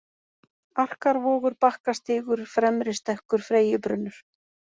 Arkarvogur, Bakkastígur, Fremristekkur, Freyjubrunnur